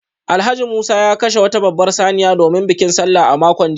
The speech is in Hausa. Alhaji Musa ya kashe wata babbar saniya domin bikin Sallah a makon jiya